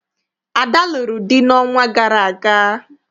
Ada lụrụ di n'ọnwa gara aga.